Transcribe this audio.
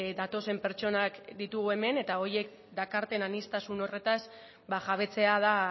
datozen pertsonak ditugu hemen eta horiek dakarten aniztasun horretaz jabetzea da